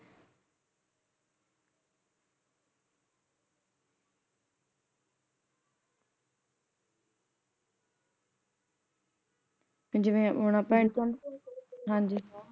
ਜਿਵੇ ਹੁਣ ਅੱਪਾ ਹਾਂਜੀ